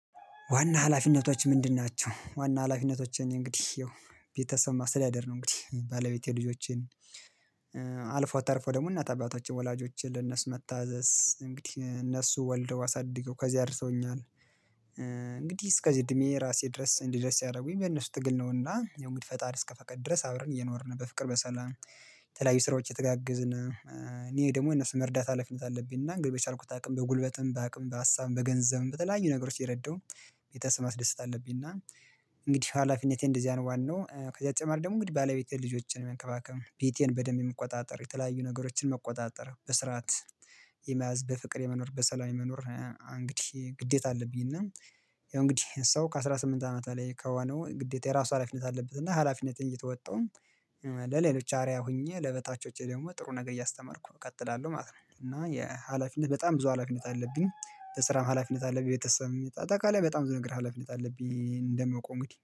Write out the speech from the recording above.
ዋና ሀላፊነቶች ምንድን ናቸው? ዋና ሀላፊነቶች እንግዲህ ያው ቤተሰብ ማስተዳደር ነው እንግዲህ ባለቤቴ ልጆቼን አልፎ ተርፎ ደግሞ እናት አባቶች ወላጆችን ለነሱ መታዘዝ እንግዲህ እነሱ ወልደው አሳድገው ከዚህ አድርሰውኛል እንግዲህ እስከዚህ እድሜ ራሴ ድረስ እንድደርስ ያደረጉኝ በእነሱ ትግል ነውና ያው እንግዲህ ፈጣሪ እስከ ፈቀድ ድረስ አብረን እየኖርን በፍቅር በሰላም የተለያዩ ስራዎች የተጋገዝን እኔ ደግሞ እነሱ መርዳት ሀላፊነት አለብኝና እንግዲህ በቻልኩት አቅም በጉልበትም በአቅም በሀሳብም በገንዘብም በተለያዩ ነገሮች እየረዳው ቤተሰብን ማስደሰት አለብኝ እና እንግዲህ ሀላፊነቴ እንደዚህ አይነት ዋናው ከዚህ በተጨማሪ ደግሞ እንግዲህ ባለቤቴን፣ ልጆችን መንከባከብ፣ ቤቴን በደንብ መቆጣጠር፣ የተለያዩ ነገሮችን መቆጣጠር፣ በስርዓት የመያዝ በፍቅር የመኖር፣ በሰላም የመኖር እንግዲህ ግዴታ አለብኝ እና ያው እንግዲህ ሰው ከአሥራ ስምንት አመት ላይ ከሆነው ግዴታ የራሱ ሀላፊነት አለበት እና ሀላፊነቴን እየተወጣው ለሌሎች አርያ ሆኜ ለበታቾቼ ደግሞ ጥሩ ነገር እያስተማርኩ ነው እቀጥላለሁ ማለት ነው፤ እና የሀላፊነት በጣም ብዙ ሀላፊነት አለብኝ፣ በስራም ሀላፊነት አለብኝ፣ ቤተሰብም አጠቃላይ በጣም ብዙ ነገር ሀላፊነት አለብኝ እንደማውቀው እንግዲህ